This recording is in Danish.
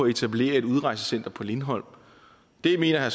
etablere et udrejsecenter på lindholm der mener